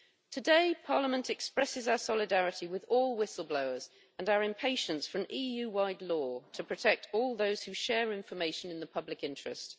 Today Parliament expresses our solidarity with all whistle-blowers and our impatience for an EU wide law to protect all those who share information in the public interest.